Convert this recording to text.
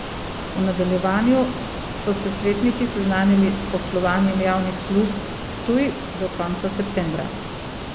V nadaljevanju so se svetniki seznanili s poslovanjem Javnih služb Ptuj do konca septembra.